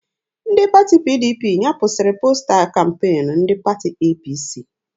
Ndị pati PDP nyapụsiri posta kampeenu ndị pati APC